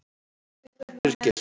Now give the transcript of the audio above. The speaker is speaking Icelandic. Birgir